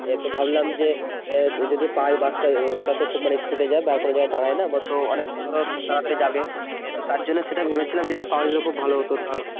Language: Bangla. এ তো ভাবলাম যে যদি পাই বাস টা ওটাতো মানে খুব speed এ যায় বার করে যাই কোথাও দাড়াইনা তো অনেক ধরো তাড়াতাড়ি যাবে তার জন্যে সেইটা ভেবেছিলাম যদি পাওয়া যেত তাহলে খুব ভালো হতো